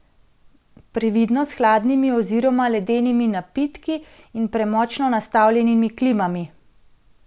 Previdno s hladnimi oziroma ledenimi napitki in premočno nastavljenimi klimami!